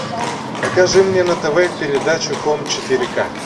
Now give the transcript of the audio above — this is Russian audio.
покажи мне на тв передачу хоум четыре к